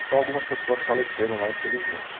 Então algumas pessoas faleceram lá, infelizmente.